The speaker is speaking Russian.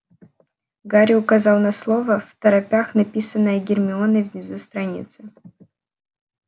гарри указал на слово второпях написанное гермионой внизу страницы